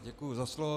Děkuji za slovo.